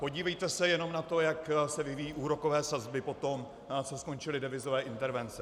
Podívejte se jenom na to, jak se vyvíjejí úrokové sazby po tom, co skončily devizové intervence.